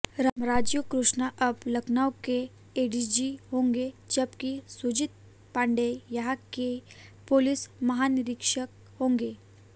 राजीव कृष्णा अब लखनऊ के एडीजी होंगे जबकि सुजीत पाण्डेय यहां के पुलिस महानिरीक्षक होंगे